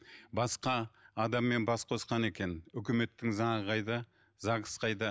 басқа адаммен бас қосқан екен өкіметтің заңы қайда загс қайда